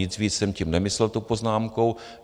Nic víc jsem tím nemyslel, tou poznámkou.